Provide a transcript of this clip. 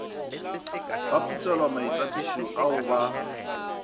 ba putselwa maitapišo ao ba